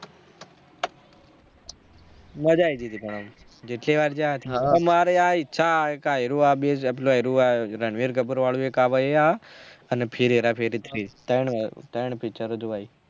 મજા આયી ગયી થી પણ જેટલી વાર જાય મારે આ ઈચ્છા થાય એક આય્રું આ રણવીર કપૂર વાળું આ ભાઈ આ અને ફિર હેરા ફેરી three તય્ન picture જોવાય